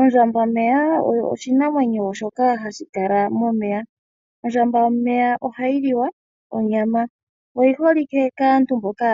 Ondjambameya osho oshinamwenyo shoka hashi kala momeya. Ondjambameya ohayi liwa onyama, oyi holike kaantu mboka